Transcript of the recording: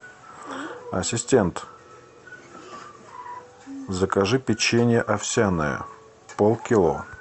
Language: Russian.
ассистент закажи печенье овсяное полкило